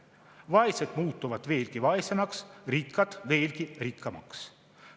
Vaesed muutuvad veelgi vaesemaks, rikkad veelgi rikkamaks.